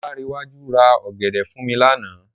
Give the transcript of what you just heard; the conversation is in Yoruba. Ọláńrewájú ra ọ̀gẹ̀dẹ̀ fún mi lánàá.